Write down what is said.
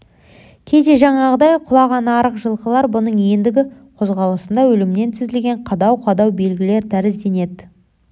кейде жаңағыдай құлаған арық жылқылар бұның ендігі қозғалысында өлімнен тізілген қадау-қадау белгілер тәрізденеді